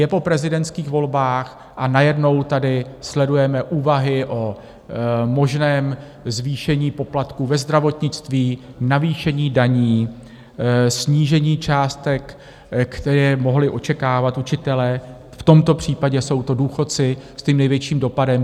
Je po prezidentských volbách, a najednou tady sledujeme úvahy o možném zvýšení poplatků ve zdravotnictví, navýšení daní, snížení částek, které mohli očekávat učitelé, v tomto případě jsou to důchodci s tím největším dopadem.